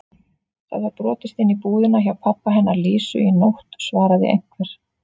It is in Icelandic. Það var brotist inn í búðina hjá pabba hennar Lísu í nótt svaraði einhver.